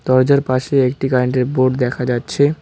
দরজার পাশে একটি কারেন্ট -এর বোর্ড দেখা যাচ্ছে।